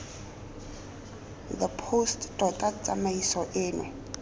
the post tota tsamaiso eno